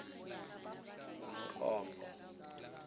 umnqopho